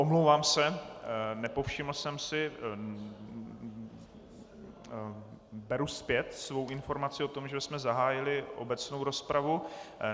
Omlouvám se, nepovšiml jsem si, beru zpět svou informaci o tom, že jsme zahájili obecnou rozpravu.